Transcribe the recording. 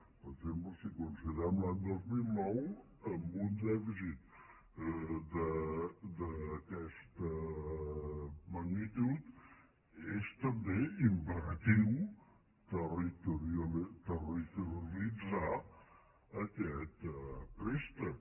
per exemple si conside·rem l’any dos mil nou amb un dèficit d’aquesta magnitud és també imperatiu territorialitzar aquest préstec